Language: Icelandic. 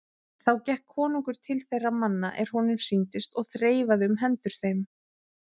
Þá gekk konungur til þeirra manna er honum sýndist og þreifaði um hendur þeim.